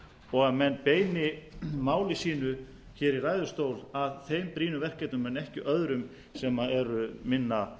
og menn beini máli sínu í ræðustól að þeim brýnu verkefnum en ekki öðrum sem hafa minna